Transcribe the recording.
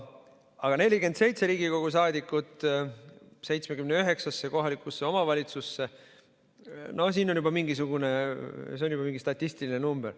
Aga 47 Riigikogu saadikut 79-sse kohalikku omavalitsusse – no see on juba mingi statistiline number.